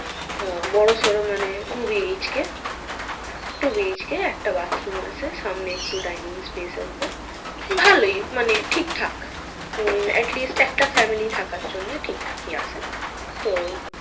আহ বড়োসড়ো মানে two BHK, two BHK একটা bathroom আছে সামনে একটু dining place আছে, ভালোই মানে ঠিকঠাক, হম atleast একটা family থাকার জন্য ঠিকঠাকই আছে তো,